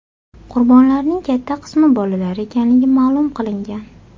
Qurbonlarning katta qismi bolalar ekanligi ma’lum qilingan.